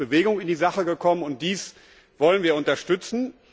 Es ist Bewegung in die Sache gekommen, und dies wollen wir unterstützen.